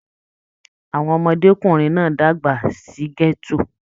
Àwọn ọmọdékunrin náà dàgbà sí gẹto.